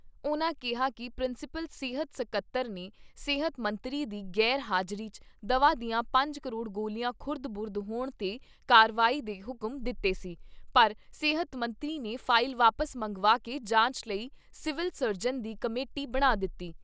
ਉਨ੍ਹਾਂ ਕਿਹਾ ਕਿ ਪ੍ਰਿੰਸੀਪਲ, ਸਿਹਤ ਸਕੱਤਰ ਨੇ ਸਿਹਤ ਮੰਤਰੀ ਦੀ ਗ਼ੈਰ ਹਾਜ਼ਰੀ 'ਚ ਦਵਾ ਦੀਆਂ ਪੰਜ ਕਰੋੜ ਗੋਲੀਆਂ ਖੁਰਦ ਬੁਰਦ ਹੋਣ ਤੇ ਕਾਰਵਾਈ ਦੇ ਹੁਕਮ ਦਿੱਤੇ ਸੀ, ਪਰ ਸਿਹਤ ਮੰਤਰੀ ਨੇ ਫਾਇਲ ਵਾਪਿਸ ਮੰਗਵਾ ਕੇ ਜਾਂਚ ਲਈ ਸਿਵਲ ਸਰਜਨ ਦੀ ਕਮੇਟੀ ਬਣਾ ਦਿੱਤੀ।